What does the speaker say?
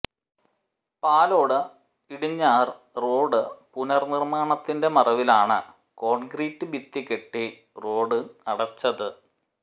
Palode Idinjar road പുനർനിർമാണത്തിന്റെ മറവിലാണ് concrete ഭിത്തികെട്ടി റോഡ് അടച്ചത്